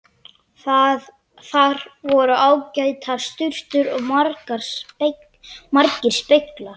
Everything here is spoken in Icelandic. Þar voru ágætar sturtur og margir speglar!